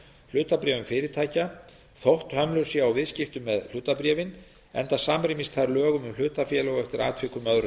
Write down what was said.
hlutabréfum fyrirtækja þótt hömlur séu á viðskiptum með hlutabréfin enda samrýmist þær lögum um hlutafélög og eftir atvikum öðrum